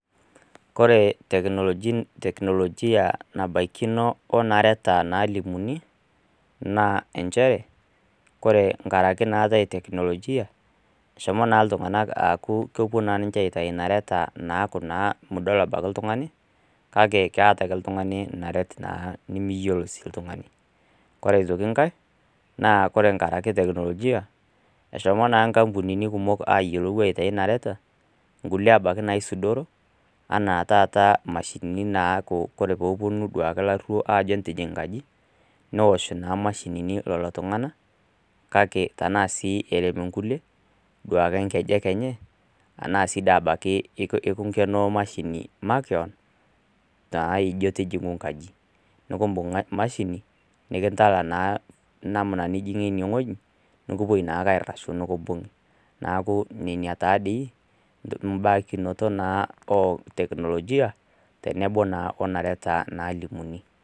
Kore teknolojin teknolojia abaikino onareta nalimuni naa enchere kore nkaraki naatae teknolojia eshomo naa iltung'anak aaku kopuo naa ninche aitai inareta naaku naa mudol abaki iltung'ani kake keeta aake iltung'ani naret naa nimiyiolo sii iltung'ani kore sii nkae naa kore nkaraki teknolojia eshomo naa nkampunini kumok ayiolou aitai inareta nkulie abaki naisudoro anaa taata imashinini naaku kore poponu duake ilarruo ajo entijing nkaji neosh naa imashinini lolo tung'ana kake tenaa sii erem inkulie duake inkejek enye anaa sii da abaki ikinkenoo imashini makewon naijio tijing'u nkaji nukumbung mashini nikintala naa namna nijing'ie ineng'oji nikipuoi naake airrashu nikimbung'i naaku nenia taa dei imbakinoto naa o teknolojia tenebo naa onareta nalimuni.